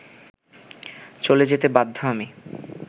চলে যেতে বাধ্য আমি